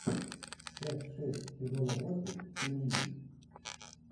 часть шесть сезона восемь семьи